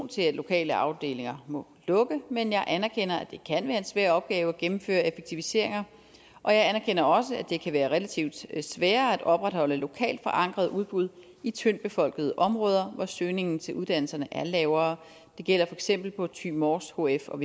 til at lokale afdelinger må lukke men jeg anerkender at det kan være en svær opgave at gennemføre effektiviseringer og jeg anerkender også at det kan være relativt sværere at opretholde lokalt forankrede udbud i tyndt befolkede områder hvor søgningen til uddannelserne er lavere det gælder for eksempel på thy mors hf og